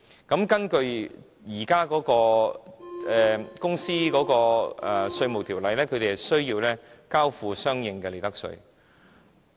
根據現行的《稅務條例》，他們需要交付相應的利得稅。